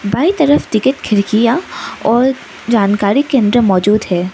बाईं तरफ टिकट खिड़कियां और जानकारी केंद्र मौजूद है।